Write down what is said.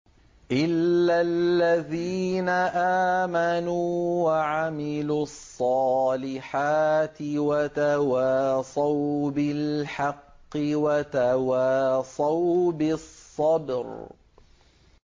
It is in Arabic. إِلَّا الَّذِينَ آمَنُوا وَعَمِلُوا الصَّالِحَاتِ وَتَوَاصَوْا بِالْحَقِّ وَتَوَاصَوْا بِالصَّبْرِ